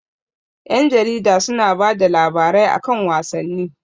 Ƴan jarida su na bada labarai a kan wasanni